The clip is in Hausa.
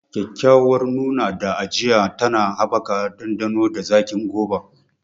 Kyakkyawar nuna da ajiya tana haɓaka ɗanɗano da zaƙin goba.